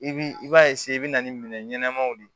I bi i b'a i be na ni minɛn ɲɛnɛmaw de ye